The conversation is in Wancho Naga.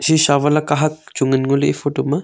sisa wala kahak chu ngan ngoley e photo ma.